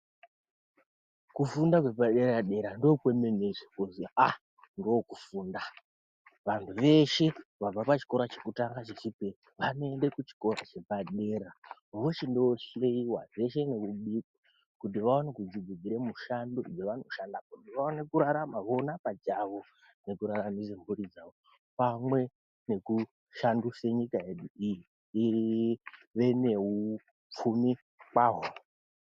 Kufunda kwepaderadera ndokwemenezve kwozi aah! ndokufunda vantu veshe vabva pachikora chekutanga chechipiri vanoende kuchikora chepadera vochindohleyiwa zvese nekubikwa kuti vaone kudzidzire mushando yevanoshanda kuti vaone kurararama vona pachawo nekuraramise mhuri dzawo pamwe nekushanduse nyika yedu iyi ive nehupfumi kwaho.